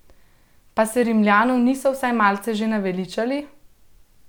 Pa se Rimljanov niso vsaj malce že naveličali?